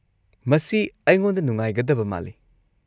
-ꯃꯁꯤ ꯑꯩꯉꯣꯟꯗ ꯅꯨꯡꯉꯥꯏꯒꯗꯕ ꯃꯥꯜꯂꯤ꯫